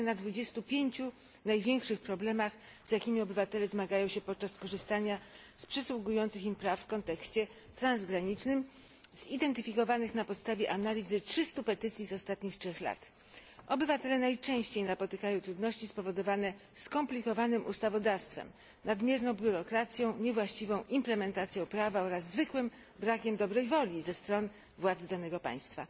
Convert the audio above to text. skupia się na 25 największych problemach, z jakimi obywatele zmagają się podczas korzystania z przysługujących im praw w kontekście transgranicznym zidentyfikowanych na podstawie analizy 300 petycji z ostatnich 3 lat. Obywatele najczęściej napotykają na trudności spowodowane skomplikowanym ustawodawstwem, nadmierną biurokracją, niewłaściwą implementacją prawa oraz zwykłym brakiem dobrej woli ze strony władz danego państwa.